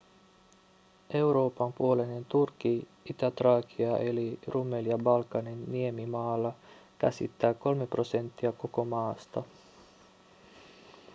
euroopan puoleinen turkki itä-traakia eli rumelia balkanin niemimaalla käsittää 3 prosenttia koko maasta